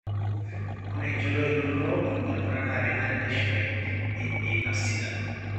ore enchoto elototo olbaribari naa kenare neasishore iilat sidan